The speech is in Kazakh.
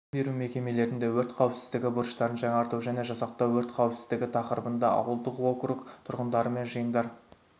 білім беру мекемелерінде өрт қауіпсіздігі бұрыштарын жаңарту және жасақтау өрт қауіпсіздігі тақырыбында ауылдық округ тұрғындарымен жиындар